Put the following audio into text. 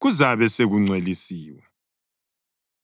kuzabe sekungcwelisiwe.